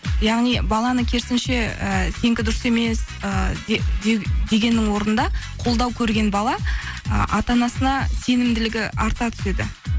яғни баланы керісінше і сенікі дұрыс емес і дегеннің орнында қолдау көрген бала ы ата анасына сенімділігі арта түседі